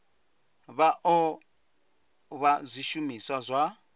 vha o vha zwishumiswa zwa